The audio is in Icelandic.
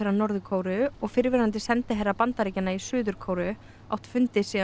Norður Kóreu fyrrverandi sendiherra Bandaríkjanna í Suður Kóreu átt fundi síðan